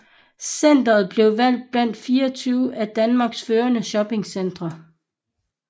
Centret blevet valgt blandt 24 af Danmarks førende shoppingcentre